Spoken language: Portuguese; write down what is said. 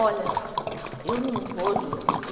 Olha, eu não vou, Júlia, porque...